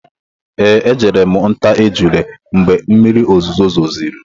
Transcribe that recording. Ee, ejere m nta ejula mgbe mmiri ozuzo zosiri.